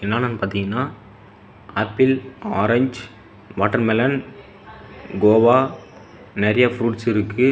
என்னனனு பாத்திங்கன்னா apple orange watermelon guava நெரைய fruits இருக்கு.